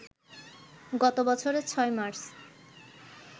গত বছরের ৬ মার্চ